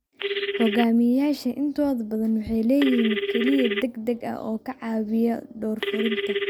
Hogaamiyayaasha intooda badani waxay leeyihiin kaaliye degdeg ah oo ka caawiya door fulinta.